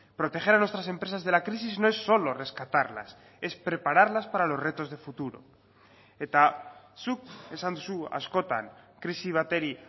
proteger a nuestras empresas de la crisis no es solo rescatarlas es prepararlas para los retos de futuro eta zuk esan duzu askotan krisi bati